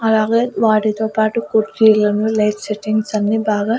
అలాగే వాటితో పాటు కుర్చీలను లైట్ సెట్టింగ్స్ అన్ని బాగా.